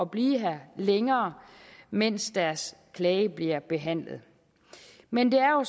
blive her længere mens deres klage bliver behandlet men det er jo